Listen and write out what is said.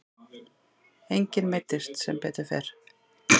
Enginn meiddist sem betur fer.